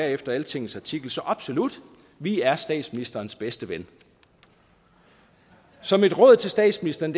efter altingets artikel så absolut vi er statsministerens bedste ven så mit råd til statsministeren